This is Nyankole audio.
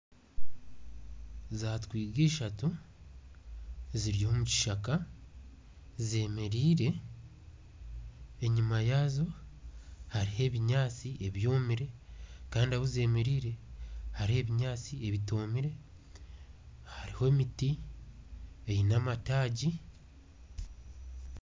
Entwiga ishatu ziri omu kishaka zemereire enyuma yaazo hariyo ebinyaatsi ebyomire kandi ahu zemereire hariho ebinyaatsi ebitomire hariho emiti eine amataagi